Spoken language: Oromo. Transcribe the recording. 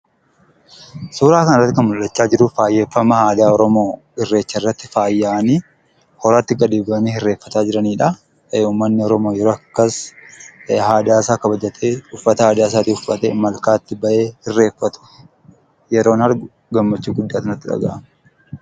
Suuraa kanarratti kan mul'ataa jiru faayeffama aadaa oromoo irreecharratti faayamanii horatti gadi bu'anii irreeffataa jiranidha. Uummanni oromoo yeroo akkas aadaa isaa kabajatee uffata aadaa isaa uffatee malkaatti bahee irreeffatu yeroon argu gammachuu guddaatu natti dhagahama.